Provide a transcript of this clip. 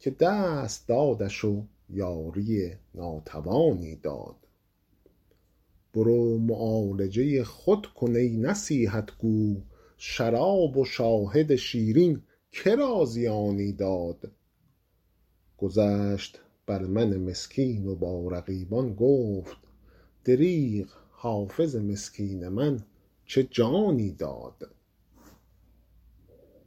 که دست دادش و یاری ناتوانی داد برو معالجه خود کن ای نصیحت گو شراب و شاهد شیرین که را زیانی داد گذشت بر من مسکین و با رقیبان گفت دریغ حافظ مسکین من چه جانی داد